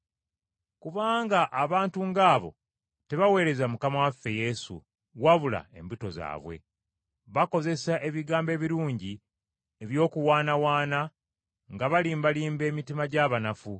Kubanga abantu ng’abo tebaweereza Mukama waffe Yesu, wabula embuto zaabwe. Bakozesa ebigambo ebirungi eby’okuwaanawaana nga balimbalimba emitima gy’abanafu.